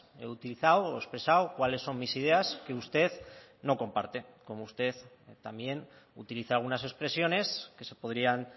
he utilizado o he expresado cuáles son mis ideas que usted no comparte como usted también utiliza algunas expresiones que se podrían